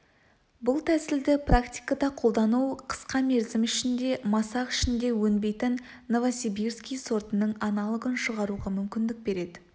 бұл тәсілді практикада қолдану қысқа мерзім ішінде масақ ішінде өнбейтін новосибирский сортының аналогын шығаруға мүмкіндік берді